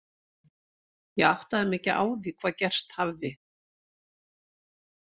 Ég áttaði mig ekki á því hvað gerst hafði.